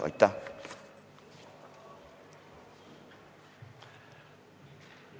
Aitäh!